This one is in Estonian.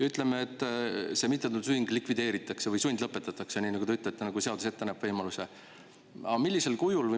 Ütleme, et see mittetulundusühing likvideeritakse või sundlõpetatakse, nii nagu te ütlete, et seadus näeb selle võimaluse ette.